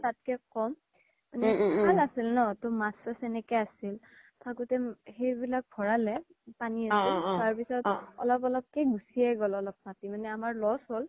তাতকে ক'ম মাছ চাছ এনেকে আছিল থকোতে সেইবিলাক ভৰালে তাৰ পিছ্ত অলপ অলপ কে গুচি গ্'ম অলপ মাতি মানে আমাৰ loss হ্'ল